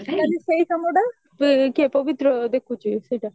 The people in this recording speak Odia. ତାହେଲେ ସେଇ କାମଟା କିଏ ପବିତ୍ର ଦେଖୁଚି ସେଇଟା